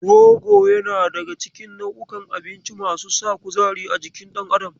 Rogo yana daga cikin nau'inkan abinci masu sa kuzari a jikin dan adam.